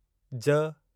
ज